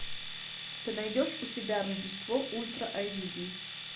ты найдешь у себя рождество ультра айч ди